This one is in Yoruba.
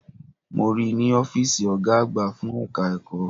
Mo ríi ní Ófììsì Ọ̀gá àgbà fún ẹ̀ka ẹ̀kọ́